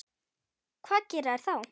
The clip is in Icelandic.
Hvað gera þeir þá?